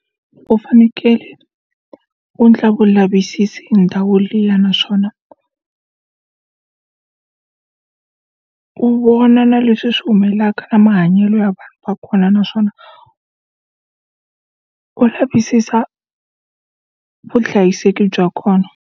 U fanekele u endla vulavisisi hi ndhawu liya naswona u vona na leswi swi humelelaka na mahanyelo ya ka kona naswona u u lavisisa vuhlayiseki bya kona.